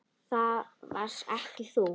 Það varst ekki þú.